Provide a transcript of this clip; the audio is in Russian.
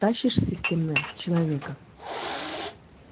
тащишь системно человека